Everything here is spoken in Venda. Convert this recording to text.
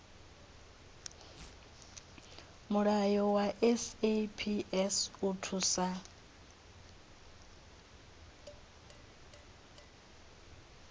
mulayo wa saps u thusa